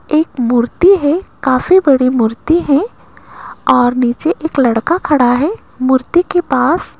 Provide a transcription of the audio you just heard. एक मूर्ति है काफी बड़ी मूर्ति है और नीचे एक लड़का खड़ा है मूर्ति के पास।